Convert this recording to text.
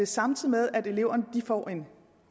samtidig med at eleverne får en